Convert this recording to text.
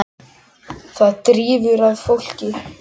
Það drífur að fólkið.